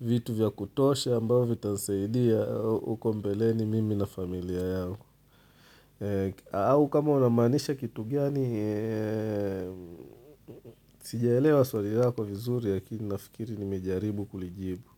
vitu vya kutosha ambao vitanisaidia uko mbeleni mimi na familia yangu au kama unamaanisha kitu gani sijaelewa swali lako vizuri lakini nafikiri nimejaribu kulijibu.